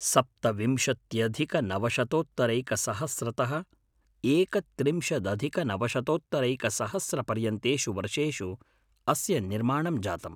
सप्तविंशत्यधिकनवशतोत्तरैकसहस्रतः एकत्रिंशदधिकनवशतोत्तरैकसहस्रपर्यन्तेषु वर्षेषु अस्य निर्माणं जातम्।